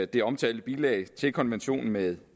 det omtalte bilag til konventionen med